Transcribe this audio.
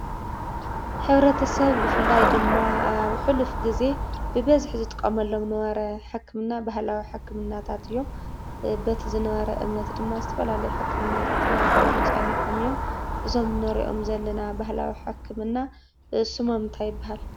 ሕብረተሰብ ብፍላይ ድማ ኣብ ሕሉፍ ግዜ ብበዝሒ ዝጥቀመሎም ዝነበረ ሕክምና ባህላዊ ሕክምናታት እዮም። በቲ ዝነበረ እምነት ድማ ዝተፈላለዩ ሕክምናታት እናገበሩ ፀኒሖም እዮም። እዞም እንሪኦም ዘለና ባህላዊ ሕክምና ስሞም እንታይ ይብሃል?